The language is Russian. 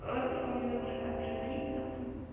а сколько вам завтра завтра звонить удобно